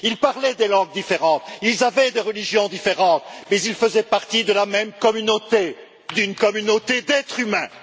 Ils parlaient des langues différentes, ils avaient des religions différentes, mais ils faisaient partie de la même communauté, d'une communauté d'êtres humains.